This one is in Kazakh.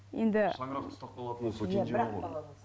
енді шаңырақты ұстап қалатын осы кенже ұл ғой